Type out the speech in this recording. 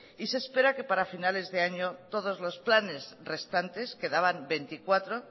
y se espera que para finales de años todos los planes restantes quedaban veinticuatro